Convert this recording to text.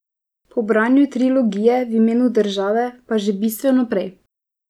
Po branju trilogije V imenu države pa že bistveno prej.